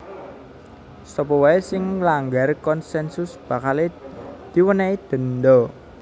Sapa waé sing nglanggar konsensus bakalé diwènèhi denda